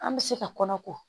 An bɛ se ka kɔnɔ ko